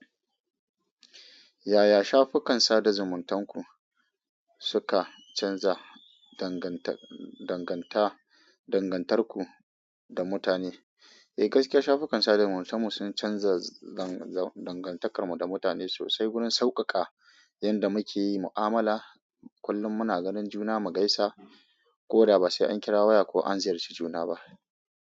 Yaya shafukan sada zumuntanku suka canza danganta- danganta- dangantarku da mutane? Eh, gaskiya shafukan sada zumuntar mu sun canza dangantakarmu da mutane sosai. Wurin sauƙaƙa yanda muke yi mu'amala, kullum muna ganin juna mu gaisa ko da ba sai an kira waya ko an ziyarci juna ba.